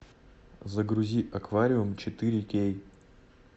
загрузи аквариум четыре кей